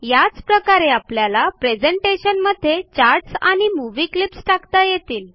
याच प्रकारे आपल्याला प्रेझेंटेशनमध्ये चार्ट्स आणि movie क्लिप्स टाकता येतील